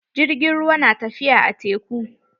Jirgin ruwan na tafiya a teku.